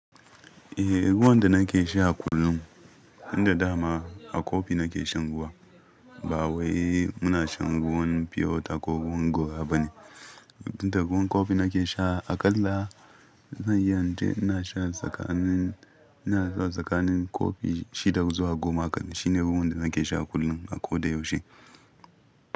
Eh, ruwan da nake sha kullum, tun da dama a kofi nake shan ruwan. Ba wai muna shan ruwan pure water ko ruwan gora ba ne. Tun da ruwan kofi nake sha aƙalla, zan iya ince ina shan tsakanin, ina shan tsakanin kofi shida zuwa goma aƙalla. Shine ruwan da nake sha kullum a ko da yaushe.